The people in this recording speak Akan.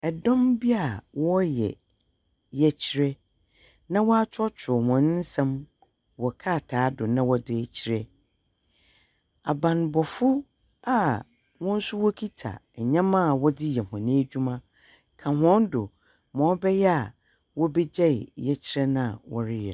Ɛdɔm bi a wɔreyɛ yɛkyerɛ, na wɔakyerɛwkyerɛw hɔn nsɛm wɔ krataa do na wɔdze rekyerɛ. Abanbɔfo a hɔn nso wɔkita ndzɛmba a wɔdze yɛ hɔn edwuma ka hɔn do, ma ɔbɛyɛ a wobegyɛe yɛkyerɛ no a wɔreyɛ no.